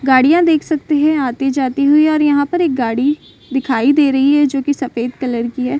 गाड़ियाँ देख सकते हैं आती-जाती हुई और यहाँ पर एक गाड़ी दिखाई दे रही है जो की सफेद कलर की है।